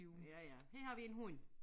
Ja ja her har vi en hund